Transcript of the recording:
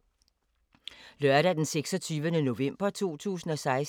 Lørdag d. 26. november 2016